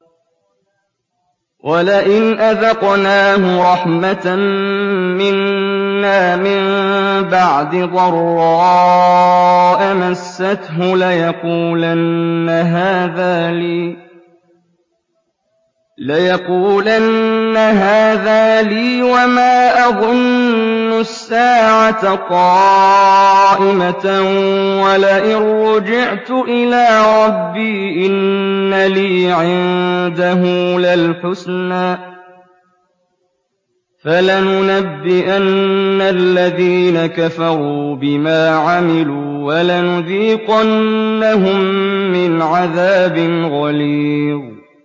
وَلَئِنْ أَذَقْنَاهُ رَحْمَةً مِّنَّا مِن بَعْدِ ضَرَّاءَ مَسَّتْهُ لَيَقُولَنَّ هَٰذَا لِي وَمَا أَظُنُّ السَّاعَةَ قَائِمَةً وَلَئِن رُّجِعْتُ إِلَىٰ رَبِّي إِنَّ لِي عِندَهُ لَلْحُسْنَىٰ ۚ فَلَنُنَبِّئَنَّ الَّذِينَ كَفَرُوا بِمَا عَمِلُوا وَلَنُذِيقَنَّهُم مِّنْ عَذَابٍ غَلِيظٍ